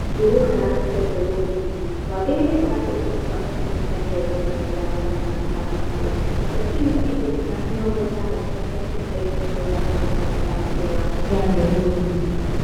Njũgukaranga cia mbegū nini, wagīrīire ūhande ūtiganu wa centimita 45 gatagatī ka mītaro na centimita 10 na 60 na centimita 15 gatagatī ka mīmera ya mbegū ndungu.